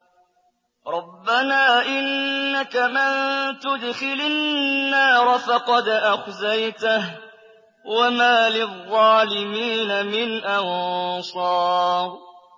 رَبَّنَا إِنَّكَ مَن تُدْخِلِ النَّارَ فَقَدْ أَخْزَيْتَهُ ۖ وَمَا لِلظَّالِمِينَ مِنْ أَنصَارٍ